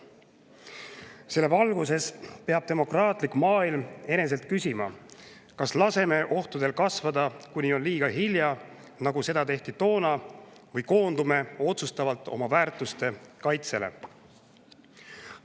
Selle valguses peab demokraatlik maailm eneselt küsima, kas laseme ohtudel kasvada, kuni on liiga hilja, nagu seda tehti toona, või koondume otsustavalt oma väärtuste kaitsele.